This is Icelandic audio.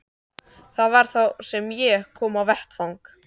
Það var þá sem ég kom á vettvang.